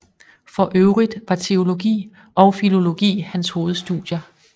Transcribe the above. For øvrigt var teologi og filologi hans hovedstudier